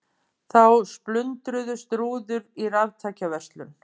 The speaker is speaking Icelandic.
Þá splundruðust rúður í raftækjaverslun